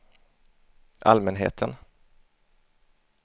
allmänheten